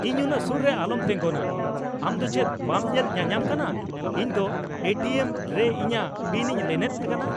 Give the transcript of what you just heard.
ᱤᱧ ᱩᱱᱟᱹᱜ ᱥᱩᱨ ᱨᱮ ᱟᱞᱚᱢ ᱛᱮᱸᱜᱚᱱᱟ ! ᱟᱢ ᱫᱚ ᱪᱮᱫ ᱵᱟᱢ ᱧᱮᱞ ᱧᱟᱧᱟᱢ ᱠᱟᱱᱟ ᱤᱧ ᱫᱚ ᱮ ᱴᱤ ᱮᱢ ᱨᱮ ᱤᱧᱟᱜ ᱯᱤᱱᱤᱧ ᱞᱤᱱᱮᱫ ᱠᱟᱱᱟ ?